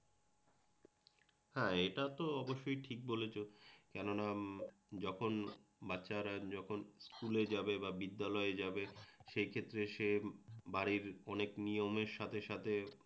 হ্যাঁ এটাতো অবশ্যই ঠিক বলেছ কেননা যখন বাচ্চারা যখন স্কুলে যাবে বা বিদ্যালয়ে যাবে সে ক্ষেত্রে সে বাড়ির অনেক নিয়মের সাথে সাথে